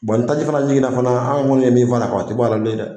ni taji fana jiginna fana an kɔni ye min fara kan o tɛ bɔ ala bilen dɛ.